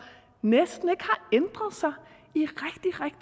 næsten ikke har ændret sig